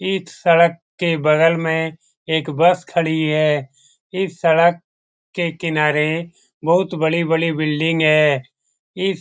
इस सड़क के बगल में एक बस खडी है । इस सड़क के किनारे बहुत बड़ी-बड़ी बिल्डिंग हैं । इस --